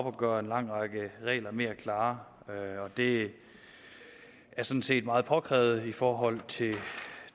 og gøre en lang række regler mere klare og det er sådan set meget påkrævet i forhold til